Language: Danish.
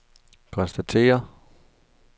konstaterer